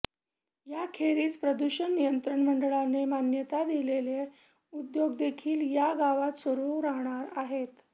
याखेरीज प्रदूषण नियंत्रण मंडळाने मान्यता दिलेले उद्योगदेखील या गावांत सुरू राहणार आहेत